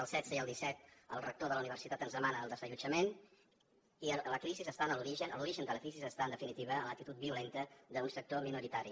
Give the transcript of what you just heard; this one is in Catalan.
el setze i el disset el rector de la universitat ens demana el desallotjament i l’origen de la crisi està en definitiva en l’actitud violenta d’un sector minoritari